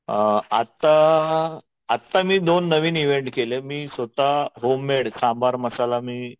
अ आत्ता आत्ता मी नवीन दोन इव्हेंट केले स्वतः मी होममेड सांबर मसाला मी